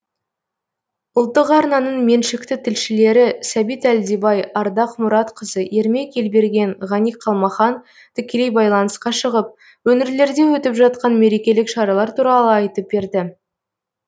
ұлттық арнаның меншікті тілшілері сәбит әлдебай ардақ мұратқызы ермек елберген ғани қалмахан тікелей байланысқа шығып өңірлерде өтіп жатқан мерекелік шаралар туралы айтып берді